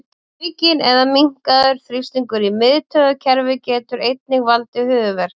Aukinn eða minnkaður þrýstingur í miðtaugakerfi getur einnig valdið höfuðverk.